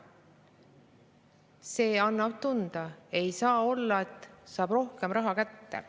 See annab tunda, ei saa olla, et saavad rohkem raha kätte.